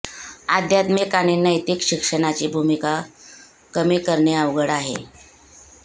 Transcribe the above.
आध्यात्मिक आणि नैतिक शिक्षणाची भूमिका कमी करणे अवघड आहे